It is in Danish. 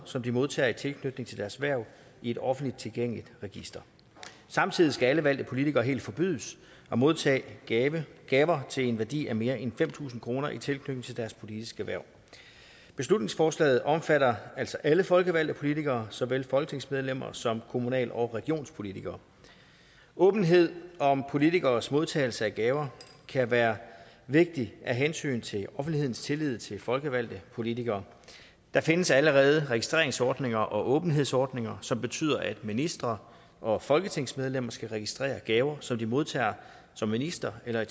som de modtager i tilknytning til deres hverv i et offentligt tilgængeligt register samtidig skal alle valgte politikere helt forbydes at modtage gaver gaver til en værdi af mere end fem tusind kroner i tilknytning til deres politiske hverv beslutningsforslaget omfatter altså alle folkevalgte politikere såvel folketingsmedlemmer som kommunal og regionspolitikere åbenhed om politikeres modtagelse af gaver kan være vigtig af hensyn til offentlighedens tillid til folkevalgte politikere der findes allerede registreringsordninger og åbenhedsordninger som betyder at ministre og folketingsmedlemmer skal registrere gaver som de modtager som ministre eller i